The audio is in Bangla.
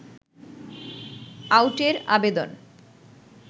আউটের আবেদন